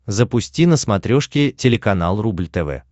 запусти на смотрешке телеканал рубль тв